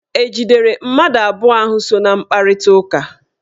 E jidere mmadụ abụọ ahụ so na mkparitaụka?